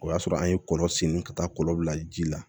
O y'a sɔrɔ an ye kɔlɔn sen ka taa kɔlɔn bila ji la